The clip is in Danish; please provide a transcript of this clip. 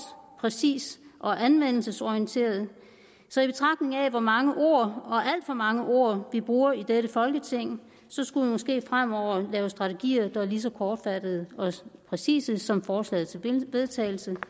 præcist og anvendelsesorienteret så i betragtning af hvor mange ord og alt for mange ord vi bruger i dette folketing skulle vi måske fremover lave strategier der var lige så kortfattede og præcise som forslaget til vedtagelse